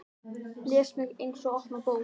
Les mig eins og opna bók.